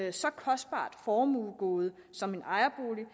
et så kostbart formuegode som en ejerbolig